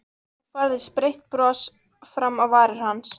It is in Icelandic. Svo færðist breitt bros fram á varir hans.